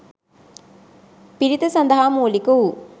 පිරිත සඳහා මූලික වූ